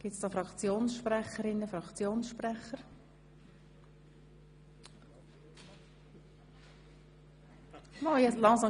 Wird das Wort von Fraktionssprecherinnen und -sprechern gewünscht?